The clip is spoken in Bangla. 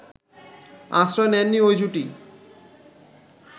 আশ্রয় নেননি ওই জুটি